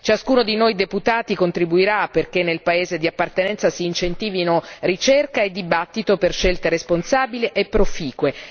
Ciascuno di noi deputati contribuirà perché nel paese di appartenenza si incentivino ricerca e dibattito per scelte responsabili e proficue.